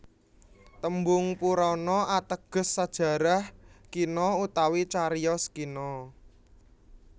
Tembung Purana ateges sajarah kina utawi cariyos kina